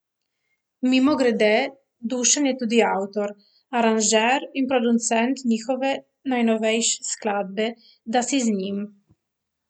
Mimogrede, Dušan je tudi avtor, aranžer in producent njihove najnovejše skladbe Da si z njim.